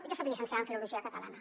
jo soc llicenciada en filologia catalana